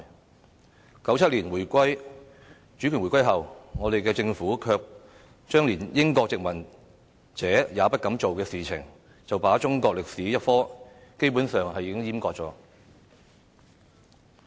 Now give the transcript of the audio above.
但是 ，1997 年主權回歸後，我們的政府卻做出連英國殖民者也不敢做的事情，便是把中史科基本上"閹割"了。